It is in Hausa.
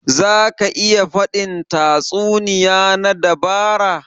Za ka iya faɗin tatsuniya na dabara?